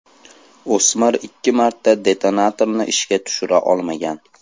O‘smir ikki marta detonatorni ishga tushira olmagan.